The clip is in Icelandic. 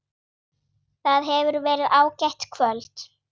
Það hefur verið ágætt kvöld.